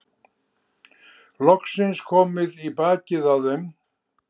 Loksins komið í bakið á þeim.